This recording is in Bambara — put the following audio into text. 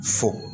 Fo